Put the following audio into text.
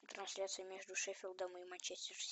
трансляция между шеффилдом и манчестер сити